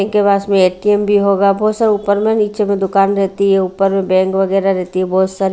के पास में ए_टी_एम भी होगा बहुत ऊपर में नीचे में दुकान रहती है ऊपर में बैंक वगैरह रहती है बहुत सारे--